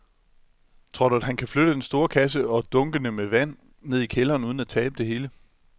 Tror du, at han kan flytte den store kasse og dunkene med vand ned i kælderen uden at tabe det hele?